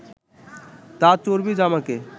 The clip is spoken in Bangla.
তা চর্বি জমাকে